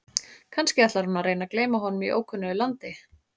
Kannski ætlar hún að reyna að gleyma honum í ókunnu landi?